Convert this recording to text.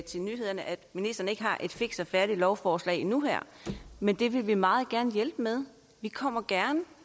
til nyhederne at ministeren ikke har et fikst og færdigt lovforslag nu her men det vil vi meget gerne hjælpe med vi kommer gerne